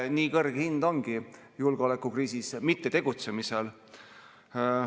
Nii kõrge hind ongi julgeolekukriisis mittetegutsemisel.